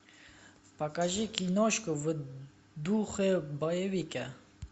покажи киношку в духе боевика